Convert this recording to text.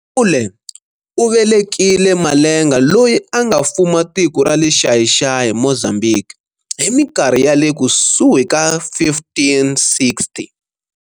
Gunyule u velekile Malenga loyi a nga fuma tiko rale Xai Xai, Mozambique, hi minkarhi yale kusuhi ka 1560.